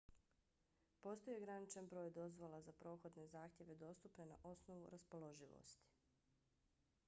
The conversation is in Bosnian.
postoji ograničen broj dozvola za prohodne zahtjeve dostupne na osnovu raspoloživosti